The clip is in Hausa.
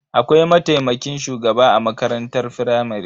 Akwai mataimakin shugaba a makarantar firamare.